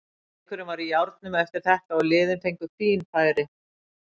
Leikurinn var í járnum eftir þetta og liðin fengu fín færi.